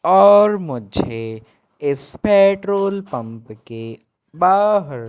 और मुझे इस पेट्रोल पंप के बाहर--